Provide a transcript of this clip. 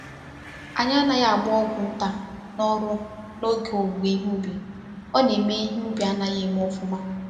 Anyị anaghị agba ọgwụ nta na ọrụ na oge owuwe ihe ubi, ọ na eme ihe ubi anaghị eme ofuma